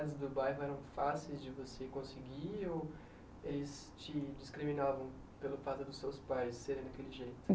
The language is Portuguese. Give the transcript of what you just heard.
as do bairro eram fáceis de você conseguir ou eles te discriminavam pelo fato de seus pais serem daquele jeito?